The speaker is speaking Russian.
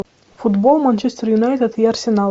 футбол манчестер юнайтед и арсенал